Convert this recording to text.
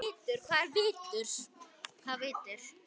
Helga: Og af hverju?